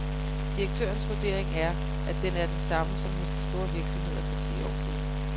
Direktørens vurdering er, at den er den samme som hos de store virksomheder for ti år siden.